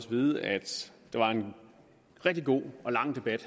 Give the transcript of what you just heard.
vide at der var en rigtig god og lang debat